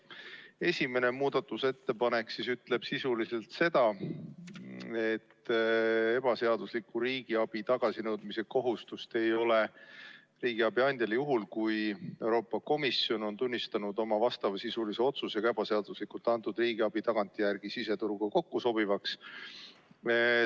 Esimene muudatusettepanek ütleb sisuliselt seda, et ebaseadusliku riigiabi tagasinõudmise kohustust ei ole riigiabi andjal juhul, kui Euroopa Komisjon on tunnistanud oma vastavasisulise otsusega ebaseaduslikult antud riigiabi tagantjärele siseturuga kokkusobivaks.